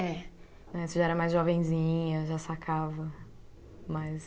É. Aí você já era mais jovenzinha, já sacava mais.